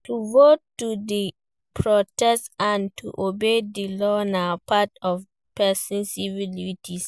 To vote, to do protest and to obey di law na part of persin civic duties